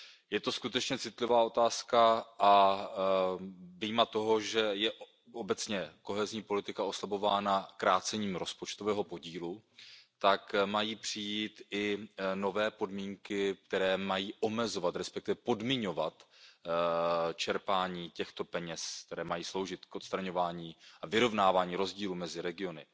Je to skutečně citlivá otázka a vyjma toho, že je obecně kohezní politika oslabována krácením rozpočtového podílu, tak mají přijít i nové podmínky, které mají omezovat, respektive podmiňovat čerpání těchto peněz, které mají sloužit k odstraňování a vyrovnávání rozdílů mezi regiony.